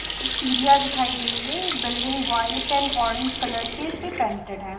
इसकी सीढ़ियां दिखाई दे रही है building white and orange colour के से पेंटेड है।